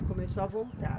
Começou a voltar?